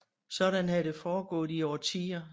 Sådan havde det foregået i årtier